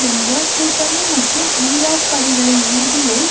என்ற கூட்டணி மற்றும் ஈராக் படைகளை உறுதியை